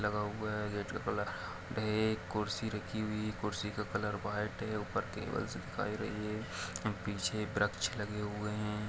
लगा हुआ है एक कुर्सी रखी हुई कुर्सी का कलर व्हाइट है ऊपर केबल्स दिखाई रहे है पिछे वृक्ष लगे हुए है।